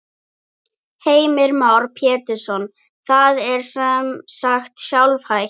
Heimir Már Pétursson: Það er sem sagt sjálfhætt?